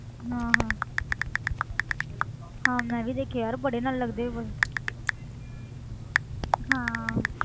ਹਾਂ ਹਾਂ ਹਾਂ ਮੈਂ ਵੀ ਦੇਖੀ ਯਾਰ ਬੜੇ ਨਾਲੇ ਲਗਦੇ ਹਾਂ